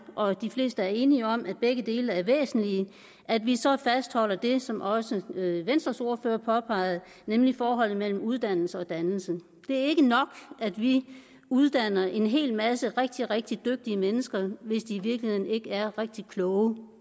og de fleste er enige om at begge dele er væsentlige at vi så fastholder det som også venstres ordfører påpegede nemlig forholdet mellem uddannelse og dannelse det er ikke nok at vi uddanner en hel masse rigtig rigtig dygtige mennesker hvis de i virkeligheden ikke er rigtig kloge i